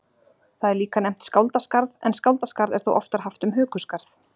Það er líka nefnt skáldaskarð en skáldaskarð er þó oftar haft um hökuskarð.